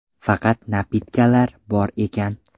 Faqat ‘napitka’lar bor ekan.